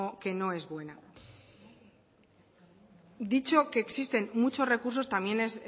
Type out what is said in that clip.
que no es buena dicho que existen muchos recursos también